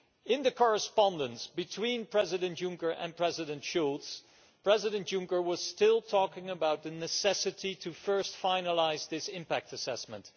In the correspondence between President Juncker and President Schulz, President Juncker was still talking about the necessity to first finalise this impact assessment.